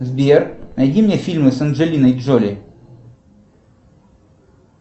сбер найди мне фильмы с анджелиной джоли